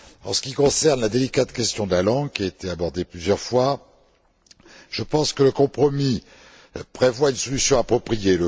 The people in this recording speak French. En ce qui concerne la délicate question de la langue, qui a été abordée plusieurs fois, je pense que le compromis prévoit une solution appropriée.